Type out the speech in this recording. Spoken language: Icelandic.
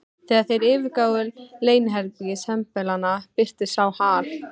Þegar þeir yfirgáfu leyniherbergi sembalanna, birtist sá Hal